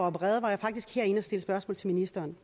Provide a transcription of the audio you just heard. opereret var jeg faktisk herinde og stille spørgsmål til ministeren